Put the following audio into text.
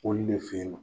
Olu de fe yen nɔ